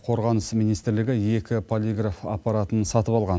қорғаныс министрлігі екі полиграф аппаратын сатып алған